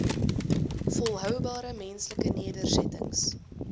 volhoubare menslike nedersettings